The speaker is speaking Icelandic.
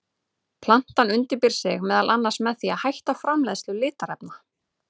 Plantan undirbýr sig meðal annars með því að hætta framleiðslu litarefna.